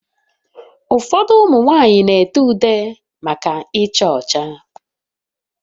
Ụfọdụ ụmụ nwanyị na-ede ude maka icha ucha